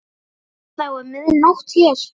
Þá er mið nótt hér.